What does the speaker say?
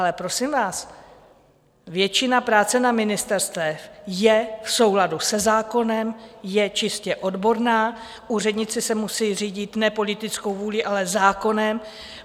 Ale prosím vás, většina práce na ministerstvech je v souladu se zákonem, je čistě odborná, úředníci se musí řídit ne politickou vůlí, ale zákonem.